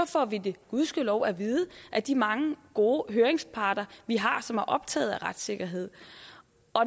får vi det gudskelov at vide af de mange gode høringsparter vi har som er optaget af retssikkerhed